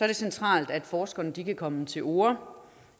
det centralt at forskerne kan komme til orde